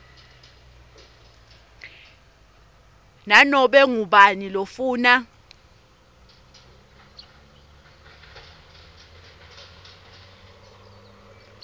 nanobe ngubani lofuna